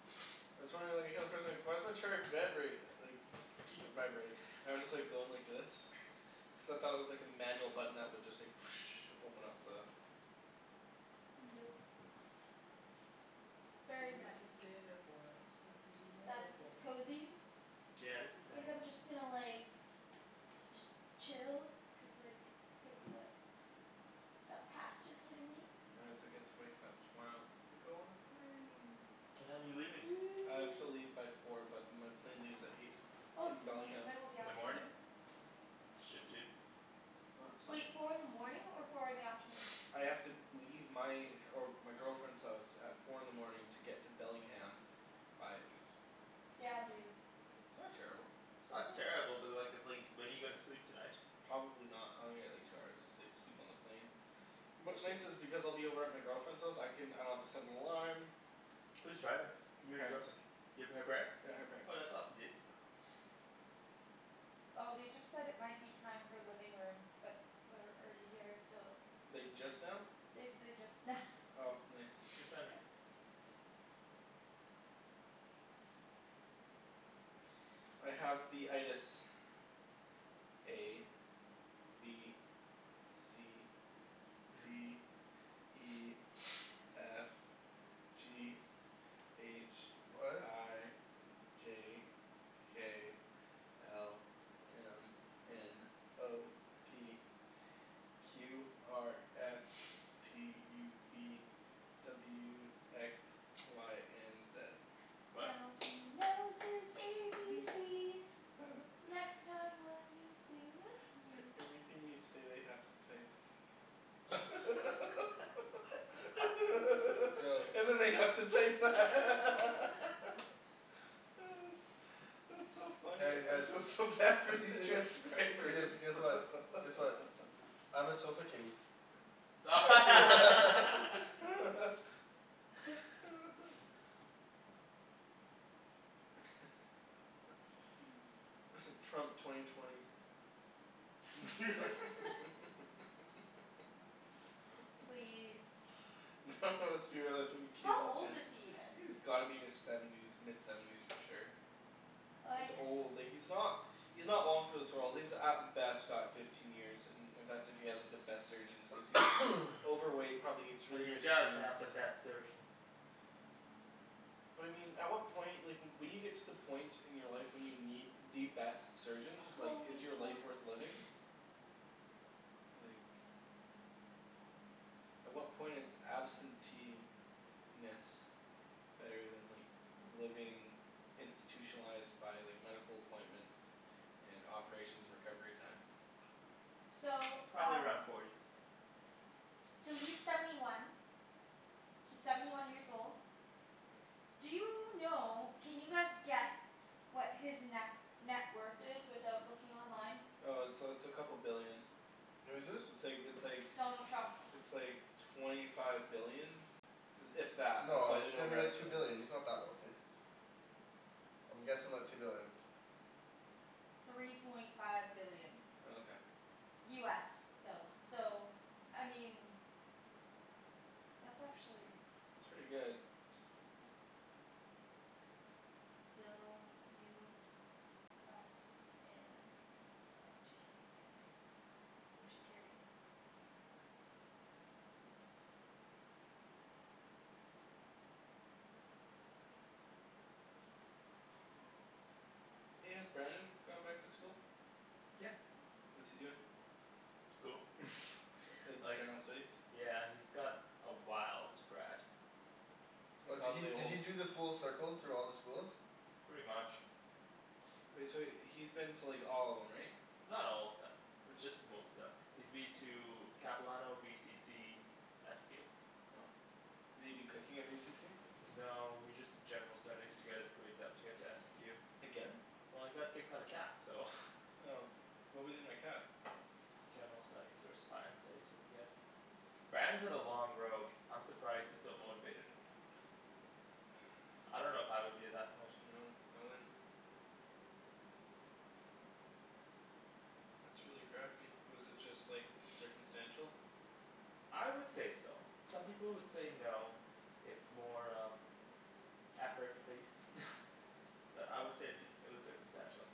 why does my chair vibrate, like just keep it vibrating. I was just like going like this. except I thought it was like a manual button that would just like open up the Nope. It's He very was a nice. skater boy, I said see you Guys, later this is boy. cozy. Yeah, this is Think nice. I'm just gonna like da- just chill. Cuz like, it's gonna be like That pasta's hitting me. get to wake up tomorrow and go on a plane. What time are you leaving? I have to leave by four but my plane leaves at eight. Oh From it's in like the Bellingham. middle of the In the morning? afternoon. Shit dude. No, it's fine Wait, dude. four in the morning or four in the afternoon? I have to leave my, or my girlfriend's house at four in the morning to get to Bellingham by eight. Damn, dude. Not terrible. It's not terrible, but like, it's like when are you gonna sleep tonight? Probably not. I'm gonna get like two hours of sleep. Sleep on the plane. What's What's nice this? is because I'll be over at my girlfriend's house, I can, I don't have to set an alarm. Who's driving? You or your Parents. girlfriend? You up at her parents'? Yeah, her parents. Oh that's awesome dude. Oh they just said it might be time for living room, but we're already here, so Like just now? They they, just now. Oh nice. Good timing. I have the A. B. C. D. E. F. G. H. What? I. J. K. L. M. N. O. P. Q R S. T U V. W X. Y and Z. What? Now he knows his A B C's. Next time will you sing with me? Everything we say they have to type. Yo And then they have to type that. That's that's so funny. Hey you I feel guys. so bad for these You transcribers. guys. Guess what, guess what. I'm a sofa king. Mmm. Trump twenty twenty. Please. No let's be realistic, it's gonna How be Caitlyn old is Jenner. he even? He's gotta be in his seventies, mid seventies for sure. He's Like old, like he's not he's not long for this world. He's at best got fifteen years, and that's if he has the best surgeons, cuz he's overweight, probably eats But really he rich does foods. have the best surgeons. But I mean, at what point, like when you get to the point in your life when you need the best surgeons, like is Holy your life smokes. worth living? Like At what point is absentee - ness better than like living institutionalized by like medical appointments and operations and recovery time? So Probably around um forty. So he's seventy one. He's seventy one years old. Do you know, can you guys guess what his ne- net worth is without looking online? Uh it's uh it's a couple billion. Who's this? It's like, it's like Donald Trump. it's like twenty five billion. If that. That's No, probably it's an gotta be like two overestimate. billion, he's not that wealthy. I'm guessing like two billion. Three point five billion. Oh okay. US though. So I mean that's actually It's pretty good. Bill US in uh to Canadian. I'm just curious. Hey, has Brandon gone back to school? Yeah. What's he doing? School. Like just Like general studies? Yeah he's got a while to grad. And Oh did he probably a did he whole do the full circle through all the schools? Pretty much. Wait, so he's been to like all of them, right? Not all of them. Just most of them. He's been to Capilano, VCC SFU Did he do cooking at VCC? No he just did general studies to get his grades up to get to SFU Again? Well he got kicked out of Cap so. Oh. What was he in at Cap? General studies or science studies, I forget. Brandon's had a long road. I'm surprised he's still motivated. I don't know if I would be at that point. No, I wouldn't. That's really crappy. Was it just like circumstantial? I would say so. Some people would say no. It's more um effort based. But I would say it'd be, it was circumstantial.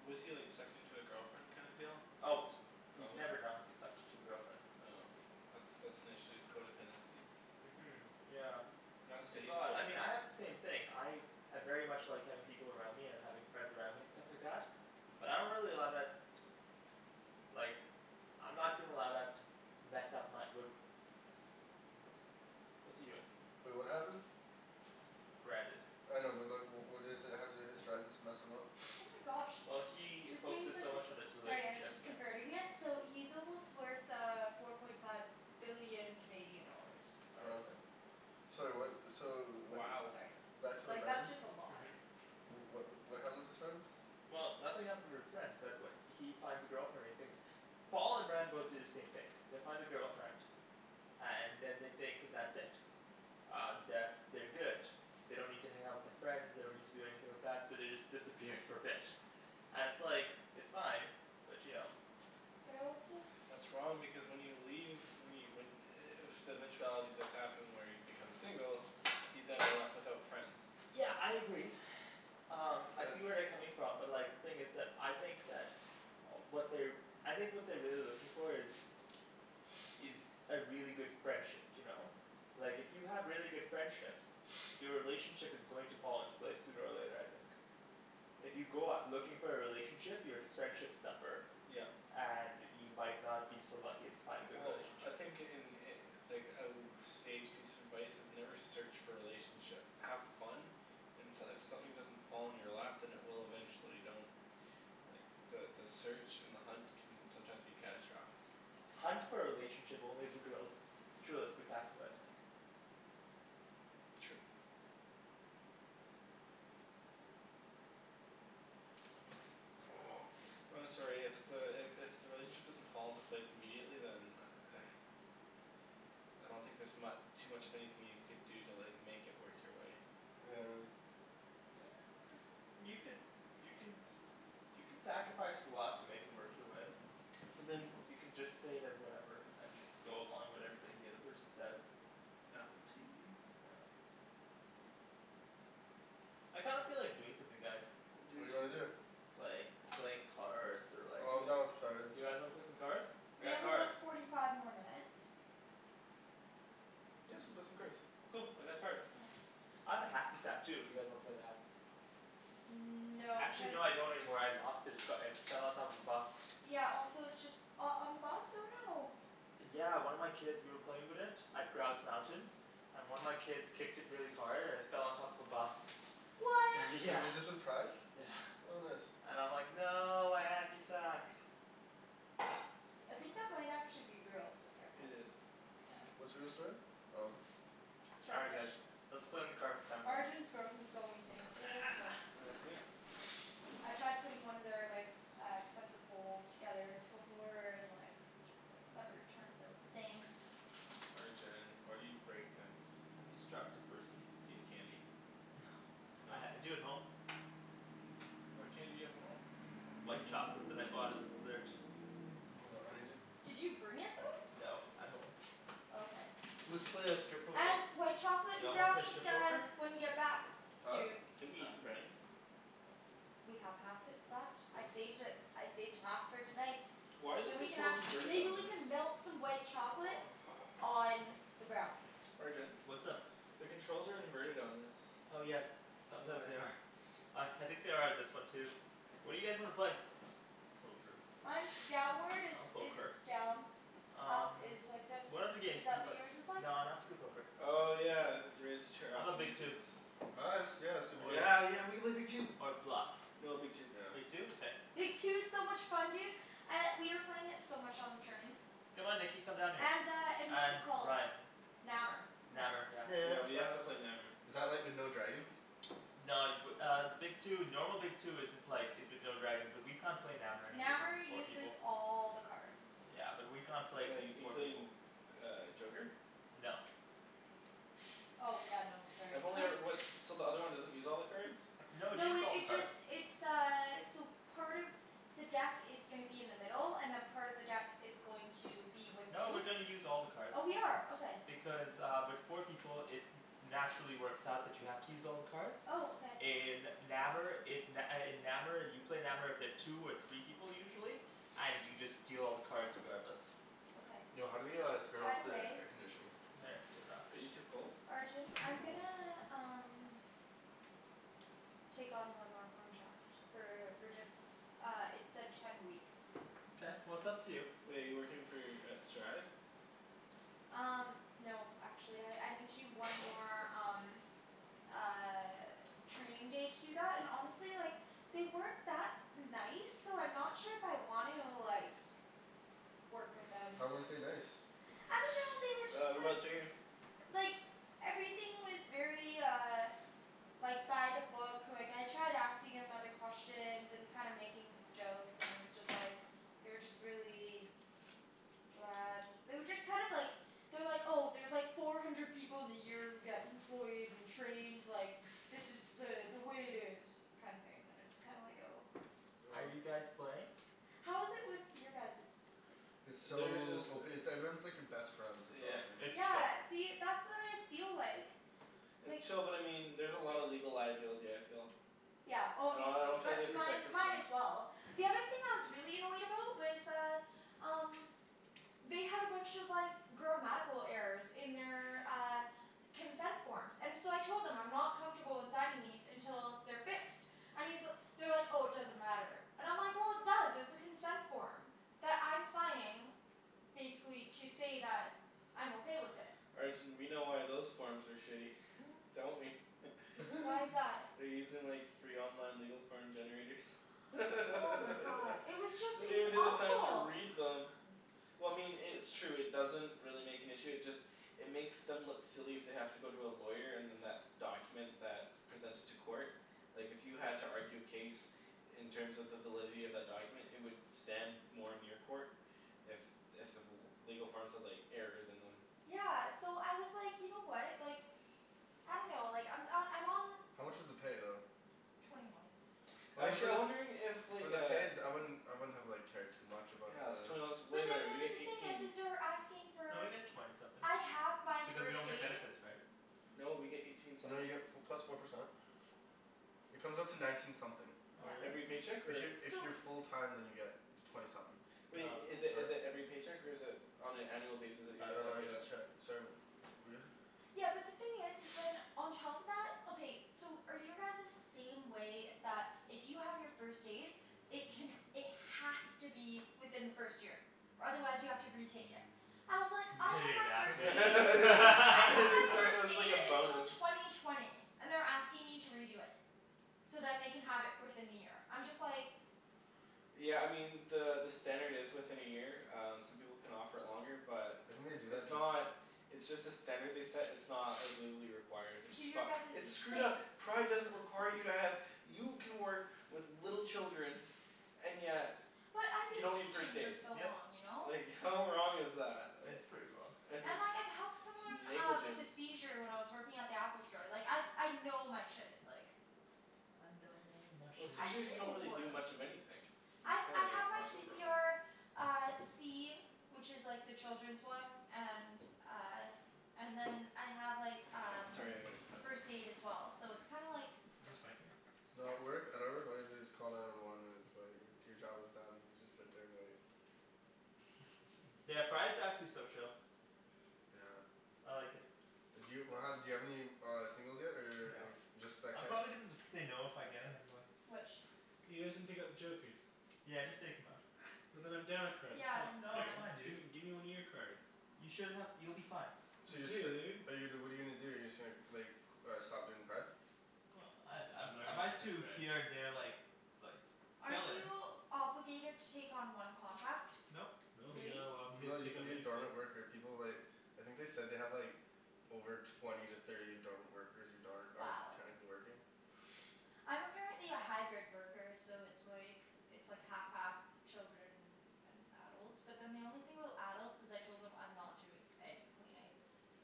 Was he like sucked into a girlfriend kind of deal? Always. He's Always? never not been sucked into a girlfriend. Oh. That's that's an issue, codependency. Mhm yeah. It's all that, I mean I codependent. had the same thing, I I very much like having people around me and having friends around me and stuff like that. But I don't really allow that like I'm not gonna allow that to mess up my, wh- What's he doing? Wait, what happened? Brandon. I know but like, wh- what is it, how did his friends mess him up? Oh my gosh. Well he This means focuses that so he's much on his Sorry I was relationship, just yeah. converting it, so he's almost worth uh four point five billion Canadian dollars. Oh really? Sorry what, so wh- y- Sorry. Back to the Like that's Brandon? just a lot. What wh- what happened with his friends? Well, nothing happened with his friends, but wh- he finds a girlfriend, he thinks Paul and Brandon both do the same thing. They find a girlfriend. And then they think that's it. Um, that's, they're good. They don't need to hang out with their friends, they don't need to do anything like that, so they just disappear for a bit. And it's like, it's fine, but you know. They're also That's wrong because when you leave, when you when i- if the eventuality does happen where you become single you then are left without friends. Yeah I agree. Um I But see where they're coming from but like, the thing is that, I think that what they're I think what they're really looking for is is a really good friendship, you know? Like if you have really good friendships your relationship is going to fall into place sooner or later, I think. If you go out looking for a relationship, your s- friendships suffer. Yep. And you might not be so lucky as to find a good Well I relationship. think in i- like a w- sage piece of advice, is never search for a relationship. Have fun and s- if something doesn't fall in your lap, then it will eventually. Don't like, the the search and the hunt can sometimes be catastrophic. Hunt for a relationship only if the girl's truly spectacular, I think. True. I'm sorry, if the, i- if the relationship doesn't fall into place immediately, then I don't think there's mu- too much of anything you could do to like make it work your way. Yeah. You could, you can you can sacrifice a lot to make it work your way. But then You can just say that whatever, and just go along with everything the other person says. Apple TV Yeah. I kind of feel like doing something, guys. I do What do you wanna too. do? Like, like cards or like, Oh I'm yes done with cards. You guys wanna play some cards? We have about forty five more minutes. Yeah, let's go play some cards. Cool, I got cards. I have a hacky sack too if you guys wanna play that. Mmm no, Actually because no, I don't anymore, I lost it. It's got, it fell on top of a bus. Yeah also it's just, oh on the bus? Oh no. Yeah one of my kids, we were playing with it at Grouse Mountain. And one of my kids kicked it really hard and it fell on top of a bus. What? Wait, Yeah. was this with pride? Yeah. What bus? And I'm like "No, my hacky sack!" I think that might actually be real, so It careful. is. What's real, sorry? Oh. All right guys. Let's play in the Arjan's broken so many things here, it's like Has he? I tried putting one of their like, uh expensive bowls together before, and like just like, never turns out the same. Arjan, why do you break things? I'm a destructive person. Do you have candy? Uh No? I do at home. What candy do you have at home? White chocolate that I bought as a dessert. Hold on, I need to just Did you bring it though? No, at home. Okay. Let's play uh strip poker. And white chocolate Y'all wanna play brownies strip poker? guys, when you get back. Huh? Dude. Didn't we eat the brownies? We have half it left, I saved it, I saved half for tonight. Why are the So we can controls have, inverted maybe on we this? can melt some white chocolate on the brownies. Arjan? What's up? The controls are inverted on this. Oh yes, sometimes Why? they are. Uh I think they are on this one too. What do you guys wanna play? Poker. Mine's downward is, I'll poke is her. done. Up Um is like this, What other games is do you that what play? yours is like? No not strip poker. Oh yeah, raise the chair How up, 'bout that Big makes Two? sense. Oh yeah, let's do yeah let's do Big Two. Yeah yeah, we could play Big Two. Or Bluff. No, Big Two. Yeah. Big Two? Okay. Big Two is so much fun dude. Uh, we were playing it so much on the train. Come on Nikki, come down here. And uh and what's it And called? Ryan. Nammer. Nammer, yeah. No, I Yeah we missed have to out. play Nammer. Is that like with no dragons? No, y- w- uh Big Two, normal Big Two isn't like, is with no dragons, but we can't play Nammer anyway cuz Nammer it's four uses people. all the cards. Yeah and we can't play because Like, it's four people. including uh joker? No. Oh yeah, no, sorry. I've only e- what, so the other one doesn't use all the cards? No, it No uses it all the it cards. just, it's uh, so part of the deck is gonna be in the middle, and then part of the deck is going to be with No, we're you. gonna use all the cards. Oh we are, okay. Because uh with four people, it naturally works out that you have to use all the cards. Oh, okay. In Nammer it, n- uh in Nammer you play Nammer with the two or three people usually. And you just deal all the cards regardless. Okay. Yo, how do we uh turn By off the the way air conditioning? Are you too cold? Arjan, Yeah, I'm I'm cold. gonna um take on one more contract. For for just, uh it said ten weeks. Mkay, well it's up to you. Wait, you're working for, at Strive? Um no actually, I I need to do one more, um uh training day to do that, and honestly, like they weren't that nice, so I'm not sure if I want to, like work with them. How weren't they nice? I dunno, they were Ah, just like remote's right here. like everything was very uh like by the book, like I tried asking him other questions and kinda making some jokes, and it was just like they were just really bland. They were just kind of like they're like, "Oh, there's like four hundred people in the year who get employed and trained, like, this is uh the way it is." kinda thing, and it's kinda like, oh. Are Oh. you guys playing? How is it with your guys's? It's There's just so ope- it's like everyone's like your best friend, it's Yeah. awesome. It's chill. Yeah, see, that's what I feel like. It's like chill but I mean, there's a lot of legal liability, I feel. Yeah, I obviously, don't feel like they but mine protect us mine enough. as well. The other thing I was really annoyed about was uh um they had a bunch of like grammatical errors in their, uh consent forms. And so I told them, I'm not comfortable in signing these until they're fixed. I mean, so, they were like "Oh, it doesn't matter." And I'm like "Well, it does, it's a consent form." That I'm signing basically to say that I'm okay with it. Arjan we know why those forms are shitty. Don't we? Why is that? They're using like free online legal form generators. They Oh my god. It was just don't it was even take the time to awful. read them. Well I mean i- it's true, it doesn't really make an issue, it just it makes them look silly if they have to go to a lawyer and then that's the document that's presented to court. Like if you had to argue a case in terms of the validity of that document, it would stand more in your court if if the l- legal forms had like errors in them. Yeah so I was like, you know what, like I dunno, like I'm uh, I'm on How much was the pay though? twenty one. I mean Actually for I'm the wondering if for like the uh pay d- I wouldn't, I wouldn't have like cared too much about Yeah it's the twenty one's way But then better. the We get other thing is eighteen. is they're asking No, you for get twenty something. I have my Because you first don't get aid. benefits, right? No, we get eighteen You know you something. get f- plus four percent. It comes out to nineteen something. Oh Yeah. really? Every paycheck If y- or? if So you're full time then you get twenty something. Wait, i- is it is Sorry? it every paycheck or is it on an annual basis that you I get don't that know I paid get a out? check, sorry wh- Yeah, but the thing is is then, on top of that, okay, so are your guys's the same way, that if you have your first aid it can, it has to be within the first year? Or otherwise you have to retake it. I was like, I Didn't have even my ask first me They aid. I have my said it first was like aid a until bonus. twenty twenty. And they're asking me to redo it. So then they can have it fourth in the year. I'm just like Yeah I mean, the the standard is within a year, um some people can offer it longer, but I think they do it's that just not it's just a standard they set, it's not like legally required, which is So your fucked. guys's It's is the screwed same. up! Pride doesn't require you to have, you can work with little children and yet But I've you been don't need first teaching for aid. so Yep. long, you know? Like how wrong is that? It's pretty wrong. Like it's And like I've helped someone uh with a negligent. seizure when I was working at the Apple store. Like I I know my shit, like I know my Well, shit. I seizures you don't really do. do much of anything. You I just I kinda have like my watch c over p 'em. r Uh, C. Which is like the children's one, and uh and then I have like Oh um sorry I gotta plug this first in. aid as well. So it's kinda like Is this my thing? No, at Yep. work, at our work all you have to do is call nine one one and it's like your job is done, you just sit there and wait. Yeah, Pride's actually so chill. Yeah. I like it. D'you do you have any uh singles yet or No. any, just that I'm kid? probably gonna end up saying no if I get him anyway. Which? You guys didn't take out the jokers. Yeah just take 'em out. And then I'm down a card, that's Yeah, not then No it's it's fair. um fine dude. Gimme gimme one of your cards. You should have, you'll be fine. So you're just f- Dude. but you what are you gonna do, you're just gonna like c- stop doing pride? Well, I I I'm not I might do here and gonna there, like like Aren't fill in. you obligated to take on one contract? Nope. No, you're Really? not allowed to No, you take can on be a anything. dormant worker, people like I think they said they have like over twenty to thirty dormant workers, who darn- aren't Wow. technically working. I'm apparently a hybrid worker, so it's like it's like half half children and adults. But then the only thing about adults is I told them I'm not doing any cleaning.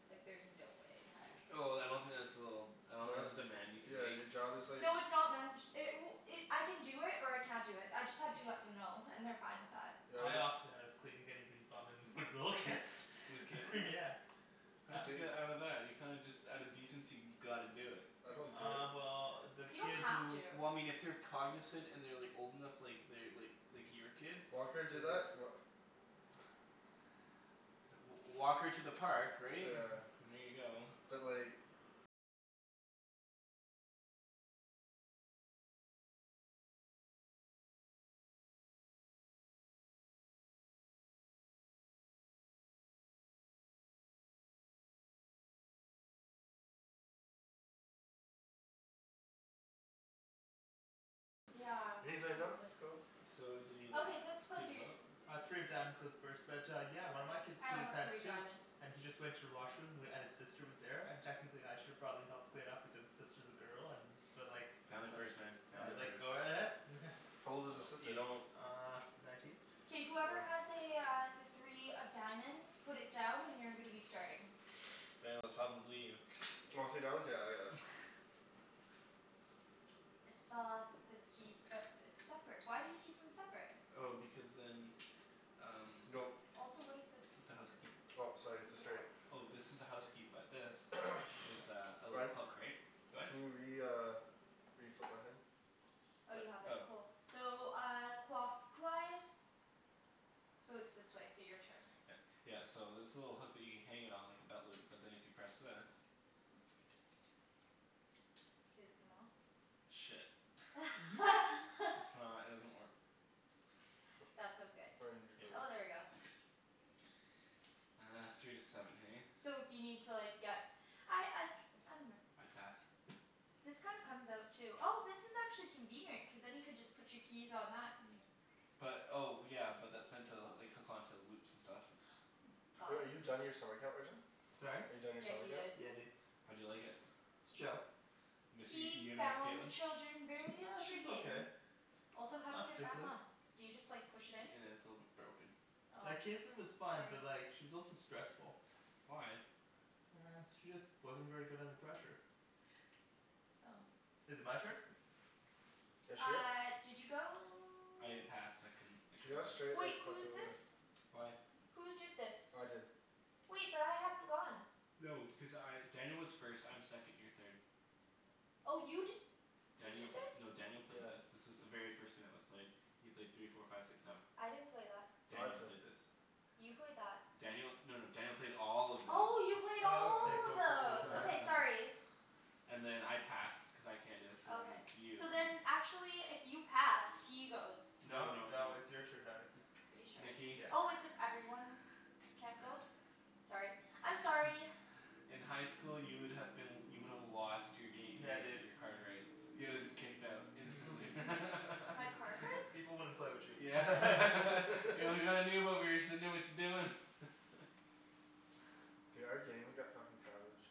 Like there's no way in heck. Oh then I don't think that's a little, I don't No think that's that's a demand you can Yeah make. your job is like No, it's not man- ch- it w- it, I can do it, or I can't do it, I just had to let them know and they're fine with that. Yeah what I do opted out of cleaning anybody's bum and with little kids. With Kaitlyn? Yeah. How did you Do they get out of that? You kinda just out of decency gotta do it. I don't do it. Uh well the You kid don't have who to. Well I mean if they're cognizant and they're like old enough, like they're like like your kid. Walker do Then that's that? Wha- w- walk her to the park, right? Yeah. And there you go. But like Yeah, And he's like "No, seriously. that's cool." So did he like Okay, let's play, clean them dude. out? Uh three of diamonds goes first but yeah, one of my kids I pooed don't his have pants three of too. diamonds. And he just went to the washroom, w- and his sister was there, and technically I should have probably helped clean up because his sister's a girl, and but like I Family was like, first man, I family was like first. "Go ahead." How old was his No, you sister? don't Uh nineteen? K whoever has Oh. a uh, the three of diamonds, put it down and you're gonna be starting. Daniel, it's probably you. Oh, three of diamonds? Yeah I got it. I saw this key, but it's separate. Why do you keep them separate? Oh because then um Go. Also what is this? it's a house key. Oh sorry it's a It's a straight. what? Oh, this is a house key, but this is a, a little Ryan. hook, right? Go ahead. Can you re- uh reflip my thing? Oh you have it? Oh. Cool. So uh, clockwise? So it's this way, so your turn. Yeah. Yeah, so this little hook that you hang it on like a belt loop. But then if you press this Did it come off? Shit. I's not, it doesn't work. That's okay. Oh, there we go. Uh, three to seven hey? So if you need to like, get I I I dunno. I pass. This kinda comes out too. Oh this is actually convenient, cuz then you could just put your keys on that, and But, oh yeah, but that's meant to like hook onto loops and stuff, it's Wait, Got are it. you done your summer camp, Arjan? Sorry? Are you done your Yeah, summer he camp? is. Yeah dude. How'd you like it? It's chill. Miss, y- He you gonna miss found the Kaitlyn? children very She's okay. intriguing. Also how do you Not get it back particularly. on? Do you just like push it in? Yeah, it's a little bit broken. Oh. Like Kaitlyn was fine, Sorry. but like she was also stressful. Why? She just wasn't very good under pressure. Oh. Is it my turn? Yeah shit. Uh did you go? I passed. I couldn't, I She couldn't got go. straight Wait, like who fucked is over. this? Why? Who did this? I did. Wait, but I hadn't gone. No, because I, Daniel was first, I'm second, you're third. Oh you d- You Daniel did p- this? no Daniel played this. This is the very first thing that was played. You played three four five six seven. I didn't play that. No, I Daniel played. played this. You played that. Daniel, no no Daniel played all of this. Oh, you played Oh Oh. okay all of cool cool cool. those. Yeah. Okay sorry. And then I passed cuz I can't, so then Okay. it's you. So then actually if you passed, he goes. No No no no. no it's your turn now, Nikki. Are you sure? Nikki. Yeah. Oh, it's if everyone can't go? Sorry. I'm sorry. In high school you would have been, you would have lost your gam- , Yeah your dude. your card rights. You would have been kicked out instantly. My Peop- card people rights? people wouldn't play with you. Yeah. Yeah we got a noob over here, she doesn't know what she's doing. Dude, our game has got fucking savage.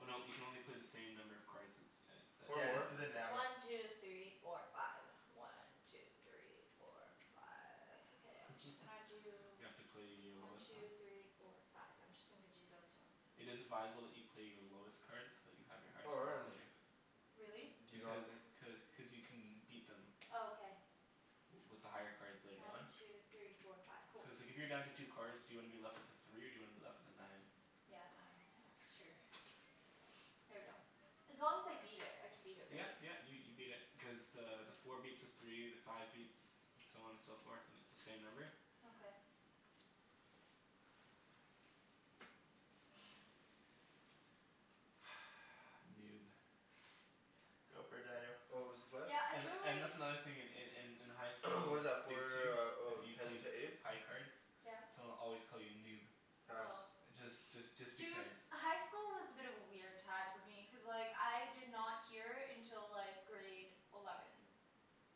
Oh no, you can only play the same number of cards as, a Or Yeah this more. a isn't Nammer. One two three four five. One two three four five. Okay, I'm just gonna do You have to play your One lowest, two three uh four five. I'm just gonna g- do those ones. It is advisable that you play your lowest cards, so that you have your highest Oh cards man. later. Really? D- do you not Because, think cuz cuz you can beat them Oh okay. w- with the higher cards later One on. two three four five. Cool. Cuz like if you're down to two cards, do you wanna be left with a three or do you wanna be left with a nine? Yeah, nine. Yeah, that's true. Here we go. As long as I beat it, I can beat it Yeah right? yeah, you you beat it, because the the four beats a three, the five beats, so on and so forth, and it's the same number. Okay. Noob. Go for it Daniel. What was the play? Yeah, I And feel and like that's another in in in in high school, What is that Big Two for, oh if you ten played to ace? high cards Yes? someone would always call you noob. Pass. Oh. Just just just Dude, because. high school was a bit of a weird time for me, cuz like, I did not hear until like grade eleven.